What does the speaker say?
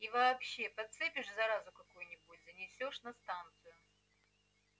и вообще подцепишь заразу какую-нибудь занесёшь на станцию